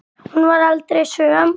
Hún varð aldrei söm.